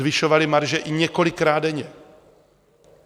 Zvyšovali marže i několikrát denně.